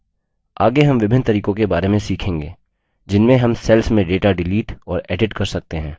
आगे हम विभिन्न तरीकों के बारे में सीखेंगे जिनमें हम cells में data डिलीट और edit कर सकते हैं